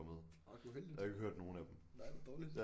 Orh uheldigt nej hvor dårligt